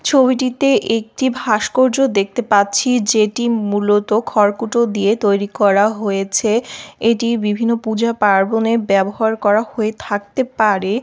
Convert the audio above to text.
ছবিটিতে একটি ভাস্কর্য দেখতে পাচ্ছি। যে টি মূলত খড়কুটো দিয়ে তৈরি করা হয়েছে। এটি বিভিন্ন পূজা পার্বণে ব্যবহার করা হয়ে থাকতে পারে।